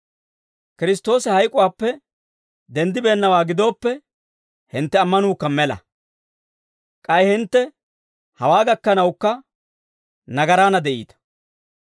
Kiristtoosi hayk'uwaappe denddibeennawaa gidooppe, hintte ammanuukka mela; k'ay hintte hawaa gakkanawukka nagaraanna de'iita.